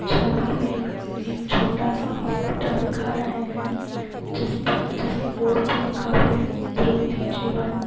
छवि में एक छोट-सा हॉस्पिटल दिखा रहे हैं जिसप-- जिसके बोर्ड पर लिखा है ध्रुति जीवन।